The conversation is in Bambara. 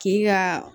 K'i ka